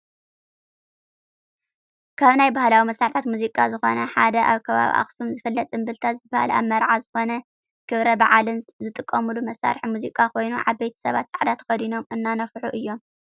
ካብ ናይ ባህላዊ መሳርሒ ሙዚቃ ዝኮነ ሓደ ኣብ ከባቢ ኣክሱም ዝፈለጥ እምብልታ ዝበሃል ኣብ መርዓን ዝኮነ ክብረ በዓልን ዝጥቀሙሉ መሳርሒ ሙዚቃ ኮይኑ ዓበይቲ ሰባት ፃዕዳ ተከዲኖም እናነፍሑ እዮም።